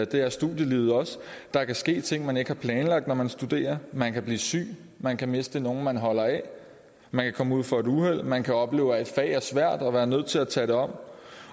det er studielivet også der kan ske ting man ikke har planlagt når man studerer man kan blive syg man kan miste nogen man holder af man kan komme ud for et uheld man kan opleve at et fag er svært og være nødt til at tage det om